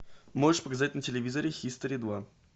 можешь показать на телевизоре хистори два